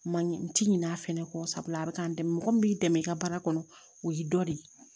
Ma ɲe n ti ɲinɛ a fɛnɛ kɔ sabula a bi ka n dɛmɛ mɔgɔ min b'i dɛmɛ i ka baara kɔnɔ o y'i dɔ de ye